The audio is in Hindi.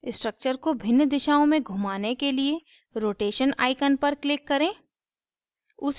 structure को भिन्न दिशाओं में घुमाने के लिए rotation icon पर click करें